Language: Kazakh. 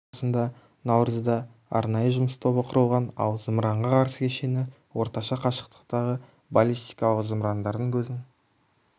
арасында наурызда арнайы жұмыс тобы құрылған ал зымыранға қарсы кешені орташа қашықтықтағы баллистикалық зымырандардың көзін